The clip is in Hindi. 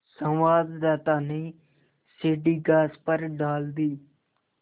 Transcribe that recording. संवाददाता ने सीढ़ी घास पर डाल दी